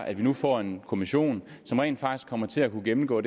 at vi nu får en kommission som rent faktisk kommer til at kunne gennemgå